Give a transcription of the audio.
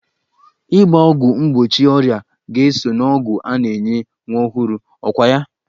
Ịgba ọgwụ mgbochi ọrịa ga-eso n'ọgwụ a na-enye nwa ọhụrụ, ọkwa ya?